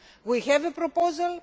We have a proposal.